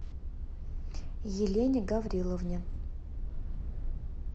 елене гавриловне